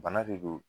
Bana de don